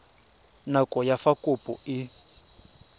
nako ya fa kopo e